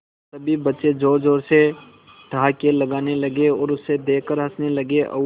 सभी बच्चे जोर जोर से ठहाके लगाने लगे उसे देख कर हंसने लगे और